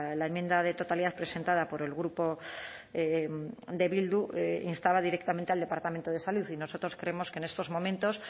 la enmienda de totalidad presentada por el grupo de bildu instaba directamente al departamento de salud y nosotros creemos que en estos momentos